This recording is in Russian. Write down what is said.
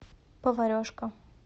поварешка